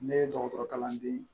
Ne ye dɔgɔtɔrɔ kalanden